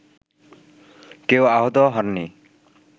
কেউ আহত হননি